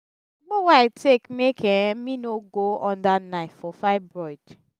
agbo wey i take make um me no go under knife for fibroid.